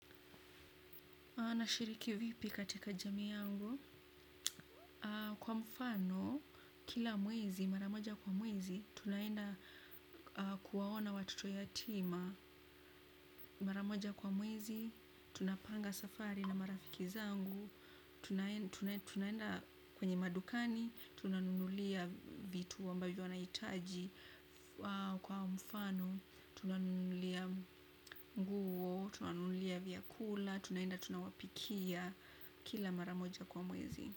Anashiriki vipi katika jamiyangu. Kwa mfano kila mwezi mara moja kwa mwezi tunaenda kuwaona watoto yatima. Maramoja kwa mwezi, tuna panga safari na marafiki zangu. Tunaenda kwenye madukani. Tuna nunulia vitu ambavyo wanaitaji. Kwa mfano tuna nunulia mguo. Tuna nunulia vyakula. Tunaenda tunawapikia. Kila maramoja kwa mwezi.